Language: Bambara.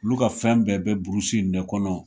Ulu ka fɛn bɛɛ bɛ burusi in de kɔnɔ